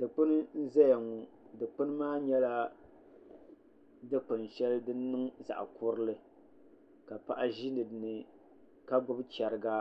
Dikpuni n ʒɛya ŋo Dikpuni maa nyɛla dikpuni shɛli din niŋ zaɣ kurili ka paɣa ʒi dinni la gbubi chɛriga